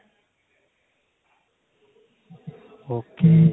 ok